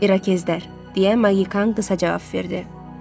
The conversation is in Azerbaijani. İrakezlər, - deyə Maqikan qısa cavab verdi.